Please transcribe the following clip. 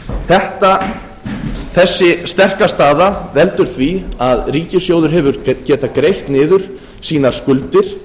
ári þessi sterka staða veldur því að ríkissjóður hefur getað greitt niður sínar skuldir